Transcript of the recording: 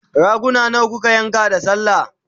raguna nawa kuka yanka da sallah?